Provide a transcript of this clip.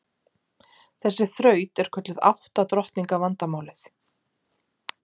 Þessi þraut er kölluð átta drottninga vandamálið.